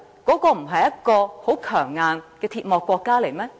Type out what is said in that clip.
那不是一個相當強硬的鐵幕國家嗎？